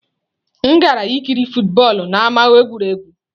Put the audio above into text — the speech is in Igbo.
M gara ikiri football n'ámá egwuregwu.